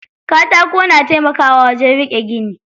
Katako na taimakawa wajen riƙe gini.